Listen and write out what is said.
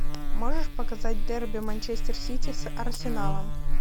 можешь показать дерби манчестер сити с арсеналом